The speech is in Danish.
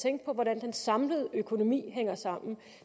tænke på hvordan den samlede økonomi hænger sammen